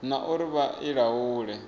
na uri vha i laule